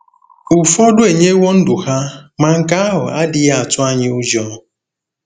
Ụfọdụ enyewo ndụ ha, ma nke ahụ adịghị atụ anyị ụjọ.